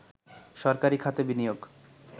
সরকারি খাতে বিনিয়োগ